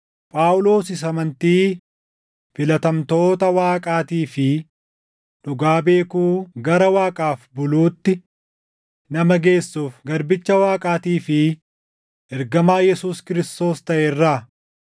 Phaawulos isa amantii filatamtoota Waaqaatii fi dhugaa beekuu gara Waaqaaf buluutti nama geessuuf garbicha Waaqaatii fi ergamaa Yesuus Kiristoos taʼe irraa;